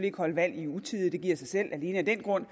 ikke holde valg i utide det giver sig selv alene af den grund